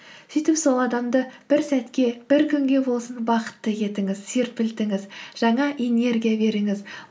сөйтіп сол адамды бір сәтке бір күнге болсын бақытты етіңіз серпілтіңіз жаңа энергия беріңіз